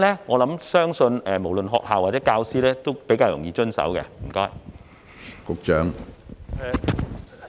我相信無論學校或教師都比較容易遵守。